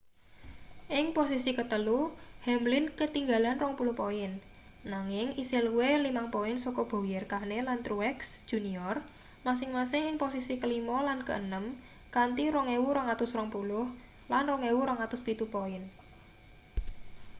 ing posisi ketelu hamlin ketinggalan 20 poin nanging isih luwih 5 poin saka bowyer kahne lan truex jr masing-masing ing posisi kelima lan keenem kanthi 2.220 lan 2.207 poin